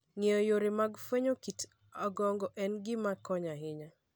Ng'eyo yore mag fwenyo kit ongogo en gima konyo ahinya.